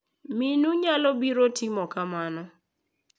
Minu nyalo biro timo kamano.